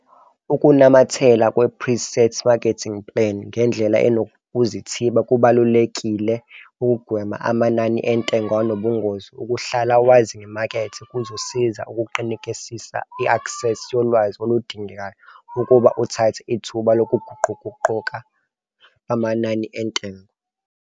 Ukunamathela ku-pre-set marketing plan ngendlela enokuzithiba kubalulekile ukugwema amanani entengo anobungozi. Ukuhlala wazi ngemakethe kuzosiza ukuqinisekisa i-aksesi yolwazi oludingekayo ukuba uthathe ithuba lokuguquguquka lwamanani entengo.